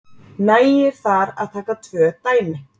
Nægir þar að taka tvö dæmi